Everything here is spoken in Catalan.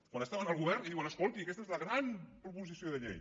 quan estaven al govern i diuen escolti aquesta és la gran proposició de llei